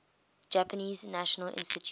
japanese national institute